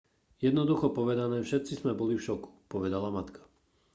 jednoducho povedané všetci sme boli v šoku povedala matka